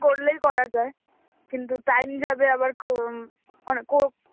করলেই করা যায়, কিন্তু time যাবে, আবার উম অনেক কো~